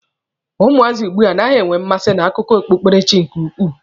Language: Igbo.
Ụmụazị ugbua anaghị enwe mmasị na akụkọ okpukpere chi nke ukwuu.